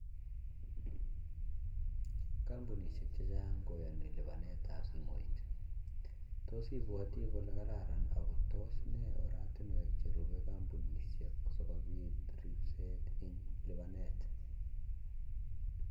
Kampunisiek chechang koyani lipanet ab simoit tos ipwatii kole kararan ako tos nee oratiniwek che rupe kampunishiek sii kopit ripset eng lipanet